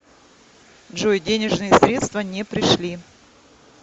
джой денежные средства не пришли